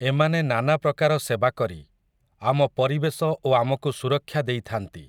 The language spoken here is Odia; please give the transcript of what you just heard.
ଏମାନେ ନାନାପ୍ରକାର ସେବା କରି, ଆମ ପରିବେଶ ଓ ଆମକୁ ସୁରକ୍ଷା ଦେଇଥାନ୍ତି ।